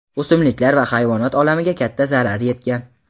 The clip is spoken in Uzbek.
o‘simliklar va hayvonot olamiga katta zarar yetgan.